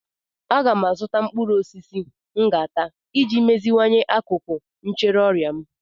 Aga m azụta mkpụrụ osisi m ga-ata iji meziwanye akụkụ ahụ ncheorịa m.